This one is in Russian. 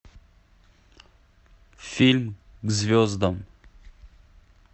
фильм к звездам